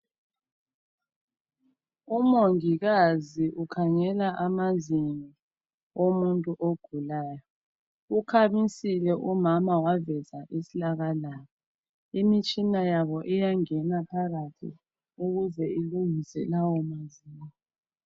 Umongikazi ukhangela amazinyo womuntu ogulayo ukhamisile umama waveza isilakalaka imitshina yabo iyangena phakathi ukuze ilungise lawo mazinyo.